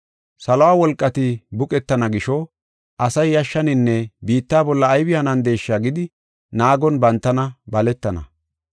Saluwa wolqati buqettana gisho asay yashshaninne biitta bolla aybi hanandesha gidi naagon bantana baletana.